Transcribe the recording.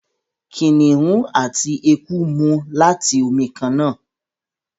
Kìnìún àti eku mú láti omí kànnà.